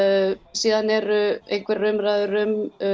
síðan eru einhverjar umræður um